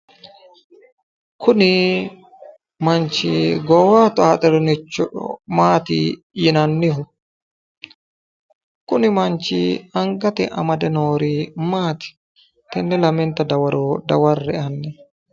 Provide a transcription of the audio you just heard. Kuni manchi goowaho xaaxirinoricho maati yinannihu? kuni manchi anagate amade noori maati? tenne lamenta dawaro daware'e.